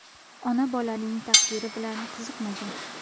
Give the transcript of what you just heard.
Ona bolaning taqdiri bilan qiziqmagan.